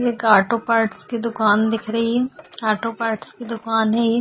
एक auto parts की दुकान दिख रही है ऑटो पार्ट्स की दुकान है ये।